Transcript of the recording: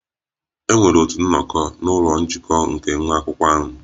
E nwere otu nnọkọ na ụlọ ọrụ njikọ nke nwa akwụkwọ ahụ